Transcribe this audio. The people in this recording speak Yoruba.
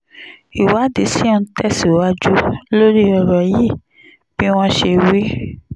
ìwádìí ṣì ń tẹ̀síwájú lórí ọ̀rọ̀ yìí bí wọ́n ṣe wí